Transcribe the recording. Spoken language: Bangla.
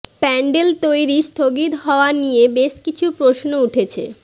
প্যান্ডেল তৈরি স্থগিত হওয়া নিয়ে বেশ কিছু প্রশ্ন উঠছে